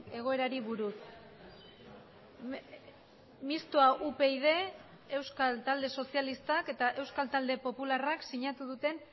egoerari buruz mistoa upyd euskal talde sozialistak eta euskal talde popularrak sinatu duten